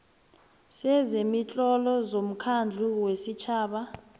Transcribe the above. sezemitlolo somkhandlu wesitjhaba